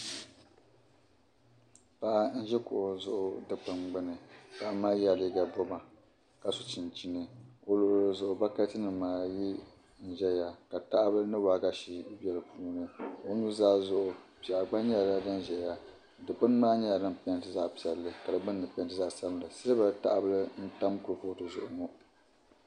Paɣa n-ʒi kuɣu zuɣu dikpini gbini. Paɣa yɛla liiga bɔma ka so chinchini. O luɣili zuɣu bɔkatinima ayi n-zaya ka tahabila ni waagashi be di puuni. O nuzaa zuɣu piɛɣu gba nyɛla din zaya. Dikpini maa nyɛla dim peenti zaɣ' piɛlli ka di gbunni peenti zaɣ' sabilinli. Siliba tahabila n-tam kurifootu zuɣu ŋɔ.